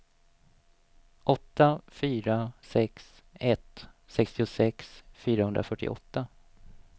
åtta fyra sex ett sextiosex fyrahundrafyrtioåtta